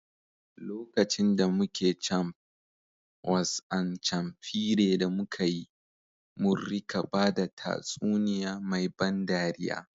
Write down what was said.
Lokacin da muke camp, was an campfire da mukayi, mun rika bada tatsuniya mai ban dariya.